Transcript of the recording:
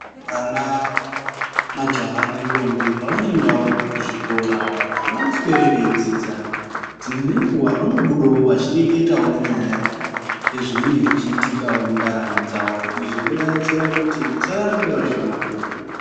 Vana majaha nentombi pavanoendawo kuzvikora avangosweri veidzidza, dzimweni nguwa vanobudawo veireketawo nyaya yeizvi zvinenge zveiitkawo mundaramo dzavo. Izvi zvinodetsera kuti vasaramba vari pamabhuku.